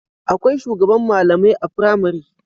Akwai shugaban malamai a pramari